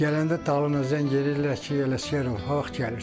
Gələndə dalına zəng eləyirdilər ki, Ələsgərov haqq gəlirsən.